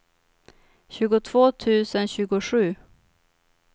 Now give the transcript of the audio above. tjugotvå tusen tjugosju